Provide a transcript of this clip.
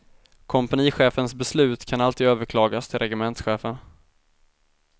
Kompanichefens beslut kan alltid överklagas till regementschefen.